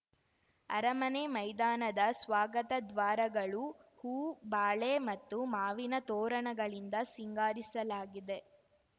ಅರಮನೆ ಮೈದಾನದ ಸ್ವಾಗತ ದ್ವಾರಗಳು ಹೂ ಬಾಳೆ ಮತ್ತು ಮಾವಿನ ತೋರಣಗಳಿಂದ ಸಿಂಗಾರಿಸಲಾಗಿದೆ